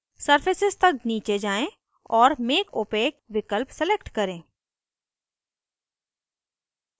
surfaces तक नीचे जाएँ और make opaque विकल्प select चुनें